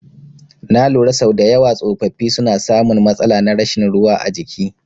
Na lura sau dayawa tsofaffi suna samun matsala na rashin ruwa a jiki